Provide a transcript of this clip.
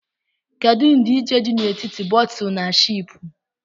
Kedu ndịịche dị n'etiti bóótù na shịịpù?